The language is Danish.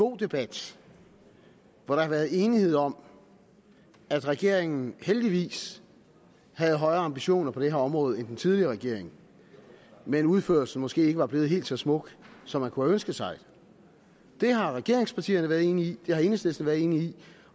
god debat hvor der har været enighed om at regeringen heldigvis har højere ambitioner på det her område end den tidligere regering men at udførelsen måske ikke er blevet helt så smuk som man kunne have ønsket sig det har regeringspartierne været enige i det har enhedslisten været enig i